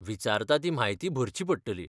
विचारता ती म्हायती भरची पडटली.